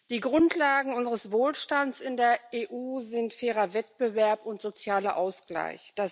Die Grundlagen unseres Wohlstands in der EU sind fairer Wettbewerb und sozialer Ausgleich.